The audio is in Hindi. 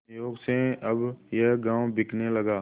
संयोग से अब यह गॉँव बिकने लगा